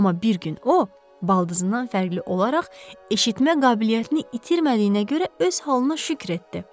Amma bir gün o, baldızından fərqli olaraq eşitmə qabiliyyətini itirmədiyinə görə öz halına şükür etdi.